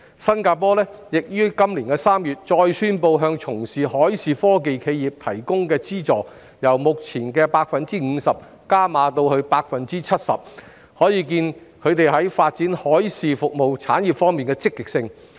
新加坡亦於今年3月再宣布向從事海事科技企業提供的資助由目前的 50% 增加至 70%， 可見其在發展海事服務產業方面的積極性。